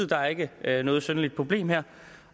der ikke er noget synderligt problem her